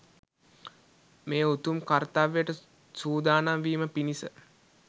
මේ උතුම් කර්ත්‍යවයට සූදානම් වීම පිණිස